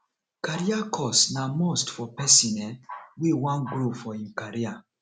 career course na must for pesin um wey wan grow for im career